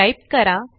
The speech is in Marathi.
टाईप करा